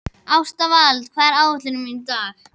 Ástvald, hvað er á áætluninni minni í dag?